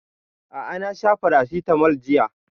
A'a na sha paracetamol jiya